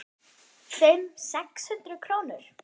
Fimm, sex hundruð krónur?